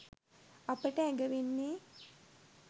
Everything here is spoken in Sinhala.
අපට ඇඟවෙන්නේ